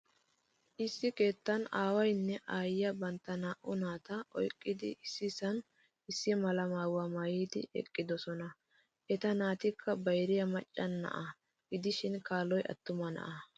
Issi keettaa aawaynne aayiiyaa bantta naa'u naataa oyqqidi issisan issi mala maayuwaa maayidi eqqidosona. Eta naatikka bayriya macca na'aa gidihsin kaaloy attuma na'aa.